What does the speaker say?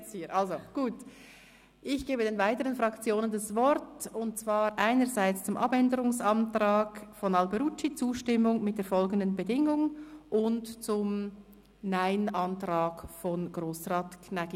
Ich gebe den weiteren Fraktionen das Wort, und zwar einerseits zum Abänderungsantrag Alberucci, «Zustimmung unter folgenden Bedingungen […]», andererseits zum Ablehnungsantrag von Grossrat Gnägi.